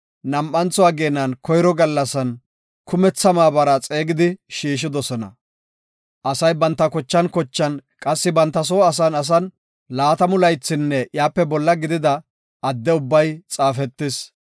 nam7antho ageenan koyro gallasan kumetha maabara xeegidi shiishidosona. Asay banta kochan kochan, qassi banta soo asan asan laatamu laythinne iyape bolla gidida adde ubbay xaafetis.